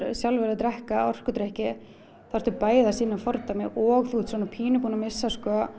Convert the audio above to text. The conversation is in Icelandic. sjálfur að drekka orkudrykki þá ertu bæði að sýna fordæmi og þá ertu pínu búinn að missa